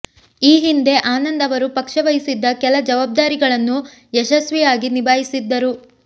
ಈ ಹಿಂದೆ ಆನಂದ್ ಅವರು ಪಕ್ಷ ವಹಿಸಿದ್ದ ಕೆಲ ಜವಾಬ್ದಾರಿಗಳನ್ನು ಯಶಸ್ವಿಯಾಗಿ ನಿಭಾಯಿಸಿದ್ದರು